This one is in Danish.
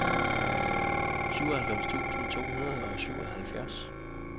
syvoghalvfems tusind to hundrede og syvoghalvfjerds